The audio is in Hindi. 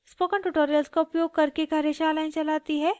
spoken tutorials का उपयोग करके कार्यशालाएं चलाती है